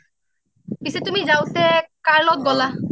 পিছে তুমি যাওঁতে কাৰ লগত গলা